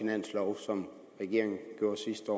finanslov som regeringen gjorde sidste